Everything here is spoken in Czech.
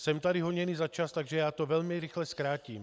Jsem tu honěn za čas, takže já to velmi rychle zkrátím.